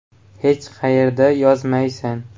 Hech qayerda yozmaysan.